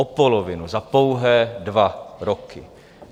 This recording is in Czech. O polovinu za pouhé dva roky.